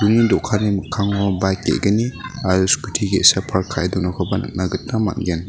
do·kani mikkango bike ge·gni aro scooty ge·sa park ka·e donakoba nikna gita man·gen.